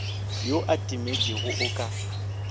yo a timetšego o ka